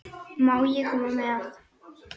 Má ég koma með?